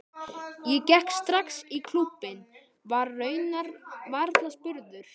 Ég gekk strax í klúbbinn, var raunar varla spurður.